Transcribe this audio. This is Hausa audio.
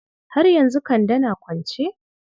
Har yanzu Kande na kwance?